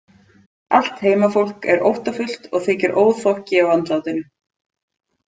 Allt heimafólk er óttafullt og þykir óþokki á andlátinu.